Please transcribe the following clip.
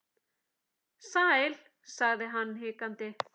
Sæl.- sagði hann hikandi